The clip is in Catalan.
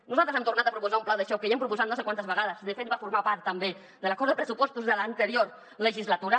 nosaltres hem tornat a proposar un pla de xoc que ja hem proposat no sé quantes vegades de fet va formar part també de l’acord de pressupos·tos de l’anterior legislatura